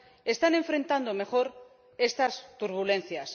están enfrentando mejor estas turbulencias.